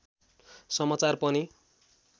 समाचार पनि